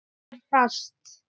Haltu þér fast.